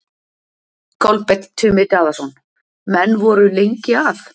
Kolbeinn Tumi Daðason: Menn voru lengi að?